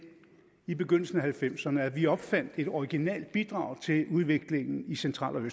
i begyndelsen af nitten halvfems ’erne at vi opfandt et originalt bidrag til udviklingen i central og